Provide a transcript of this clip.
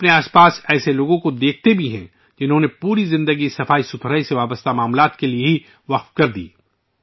ہم اپنے ارد گرد ایسے لوگوں کو بھی دیکھتے ہیں ، جنہوں نے اپنی پوری زندگی صفائی سے متعلق مسائل کے لیے وقف کر رکھی ہے